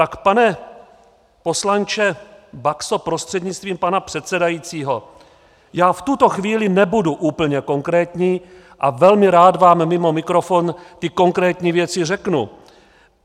Tak pane poslanče Baxo prostřednictvím pana předsedajícího, já v tuto chvíli nebudu úplně konkrétní a velmi rád vám mimo mikrofon ty konkrétní věci řeknu.